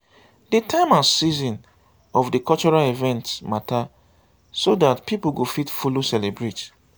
di time and season of di cultural event matter so dat pipo go fit follow celebrate